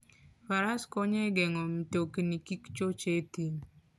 Faras konyo e geng'o mtokni kik choch e thim.